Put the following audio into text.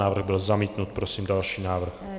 Návrh byl zamítnut. Prosím další návrh.